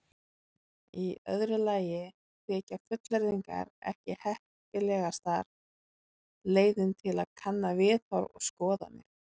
Í öðru lagi þykja fullyrðingar ekki heppilegasta leiðin til að kanna viðhorf og skoðanir.